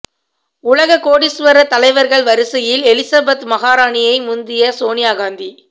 உலக கோடீஸ்வர தலைவர்கள் வரிசையில் எலிசபெத் மகாராணியை முந்திய சோனியா காந்தி